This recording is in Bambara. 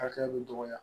Hakɛya min dɔgɔya